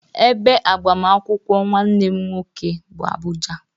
Ebe agbamakwụkwọ nwanne m nwoke bụ Abuja.